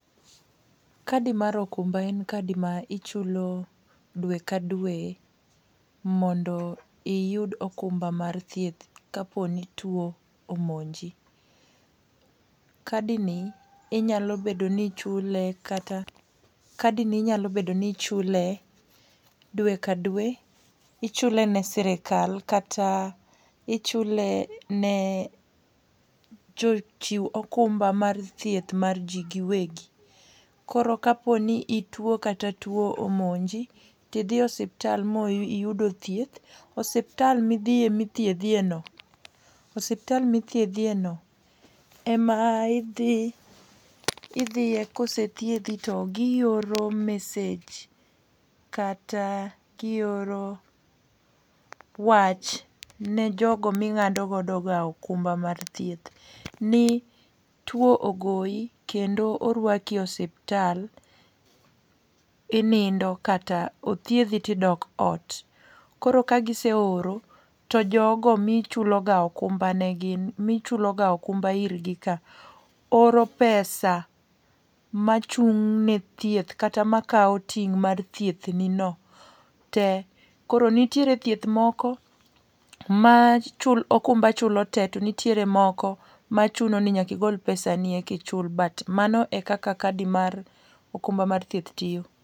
Kadi mar okumba en kadi ma ichulo dwe ka dwe, mondo iyud okumba mar thieth ka po ni two omonji. Kadi ni inyalo bedo ni ichule, kata kadi ni inyalo bedo ni ichule dwe ka dwe. Ichule ne sirkal kata, ichule ne jochiw okumba mar thieth mar ji giwegi. Koro ka po ni itwo, kata two omonji, tidhi osiptal ma iyudo thieth, osiptal midhie, mithiedhie no, osiptal mithiedhi e no, ema idhi, idhie, kosethiedhi to gioro message, kata gioro wach ne jogo ma ingádo godo ga okumba mar thieth. Ni two ogoi, kendo orwaki e osiptal inindo, kata othiedhi to idok ot. Koro ka giseoro, to jogo ma ichulo ga okumba ne gin, mi chulo ga okumba irgi ka, oro pesa machung' ne thieth kata makao ting' mar thieth ni no te. Koro nitiere thieth moko ma ma okumba chulo te, to nitiere moko ma chuno ni nyaka igol pesani eka ichul. But mano eka kadi mar okuma mar thieth tiyo.